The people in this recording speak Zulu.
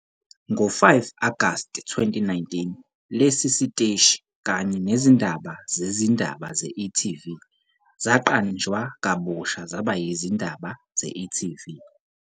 Ngo-5 Agasti 2019, lesi siteshi, kanye nezindaba zezindaba ze-e.tv, zaqanjwa kabusha zaba yizindaba ze-e.tv.